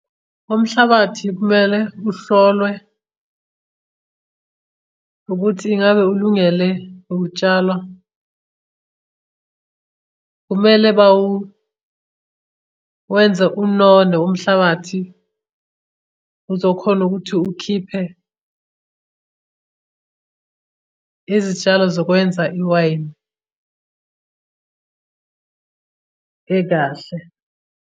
Umhlabathi kumele uhlolwe ukuthi ingabe ulungele ukutshala kumele bawu wenze unono umhlabathi uzokhona ukuthi ukhiphe izitshalo zokwenza iwayini ekahle.